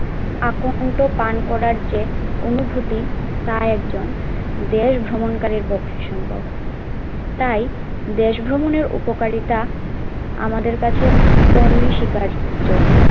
আকন্দ পান করার চেয়ে অনুভূতি তা একজন দেশ ভ্রমণকারীর পক্ষে সম্ভব তাই দেশ ভ্রমণের উপকারিতা আমাদের কাছে অনস্বীকার্য।